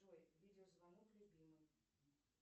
джой видеозвонок любимый